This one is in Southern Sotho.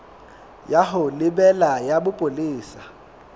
ya ho lebela ya bopolesa